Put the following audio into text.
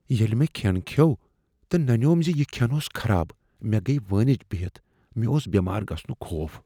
ییٚلہ مےٚ کھین کھیوٚو تہٕ ننیوم ز یہ کھین اوس خراب، مے گیہ وٲنج بہتھ۔ مےٚ اوس بیمار گژھنک خوف۔